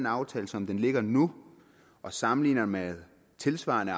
aftalen som den ligger nu og sammenligner med tilsvarende